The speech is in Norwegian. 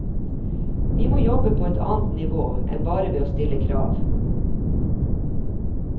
Vi må jobbe på et annet nivå enn bare ved å stille krav.